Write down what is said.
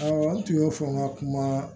Awɔ n tun y'o fɔ n ka kuma